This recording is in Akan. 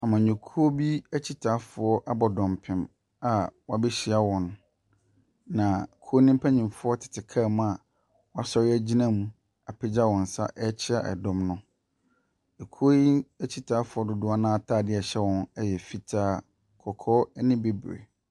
Amanyɔkuo bi akyitaafoɔ abɔ dɔmpem a wabehyia wɔn, na kuo ne mpanimfoɔ tete kaa mu a wɔsɔre agyina mu apagya wɔn nsa ɛrekyia mu dɔm no. Kuo yi akyitaefoɔ dodoɔ no ara ataadeɛ ɛhyɛ wɔn yɛ fitaa, kɔkɔɔ ne bibire.